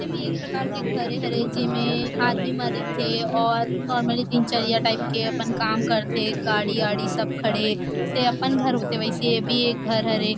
मुझे भी एक प्रकार के घरे हरे जे में आदमी मन रईथे और नॉर्मली दिनचर्या टाइप के अपन काम करथे गाड़ी -वाड़ी सब खड़े हे जैसे अपन घर होथे वैसे ये भी घर हरे।